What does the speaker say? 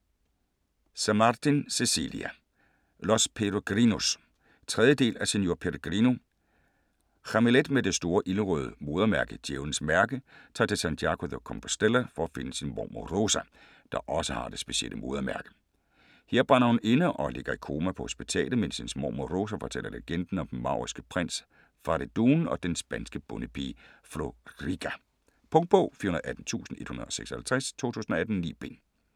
Samartin, Cecilia: Los Peregrinos 3. del af Señor Peregrino. Jamilet med det store ildrøde modermærke, 'Djævlens mærke', tager til Santiago de Compostela for at finde sin mormor Rosa, der også har det specielle modermærke. Her brænder hun inde, og ligger i koma på hospitalet, mens hendes mormor Rosa fortæller legenden om den mauriske prins Faridoon og den spanske bondepige Florica. Punktbog 418156 2018. 9 bind.